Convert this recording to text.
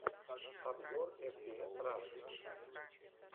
обзор эф пи эс раши